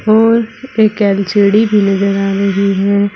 और एक एल_सी_डी भी नजर आ रही है।